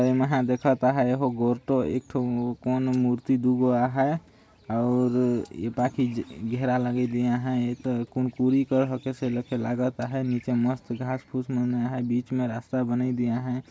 एमा है देखत आहाय एहा गोर तो एक ठो कोनो मूर्ति दू गो आहय अउर बाकि घेरा लगी आहय एक कुनकुरी ए कस लागत आहय नीचे मस्त घास-फुस मन आहय बीच में रास्ता बनई दी आहय।